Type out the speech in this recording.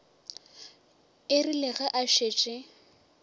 e rile ge a šetše